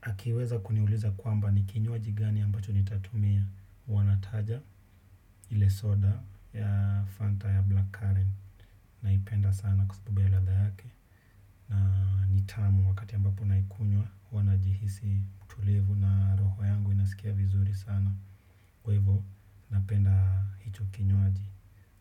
akiweza kuniuliza kwamba ni kinywaji gani ambacho nitatumia huwanataja ile soda ya Fanta ya Black Karen naipenda sana kwa sababu ya ladha yake. Na nitamu wakati ambapo naikunywa huwa najihisi mtulivu na roho yangu inasikia vizuri sana. Kwa hivyo napenda hicho kinywaji